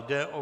Jde o